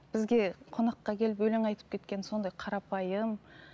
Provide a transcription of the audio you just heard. бізге қонаққа келіп өлең айтып кеткені сондай қарапайым